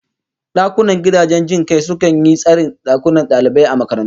Dakunan gidajen jin kai sukan yi tsarin dakunan dalibai a makarantu